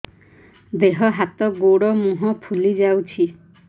ଦେହ ହାତ ଗୋଡୋ ମୁହଁ ଫୁଲି ଯାଉଛି